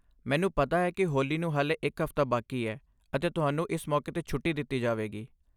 ਮੈਨੂੰ ਪਤਾ ਹੈ ਕਿ ਹੋਲੀ ਨੂੰ ਹਾਲੇ ਇੱਕ ਹਫ਼ਤਾ ਬਾਕੀ ਹੈ, ਅਤੇ ਤੁਹਾਨੂੰ ਇਸ ਮੌਕੇ 'ਤੇ ਛੁੱਟੀ ਦਿੱਤੀ ਜਾਵੇਗੀ।